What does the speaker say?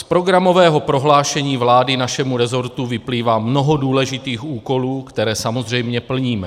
Z programového prohlášení vlády našemu resortu vyplývá mnoho důležitých úkolů, které samozřejmě plníme.